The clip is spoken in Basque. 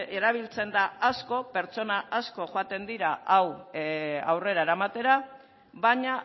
erabiltzen da asko pertsona asko joaten dira hau aurrera eramatera baina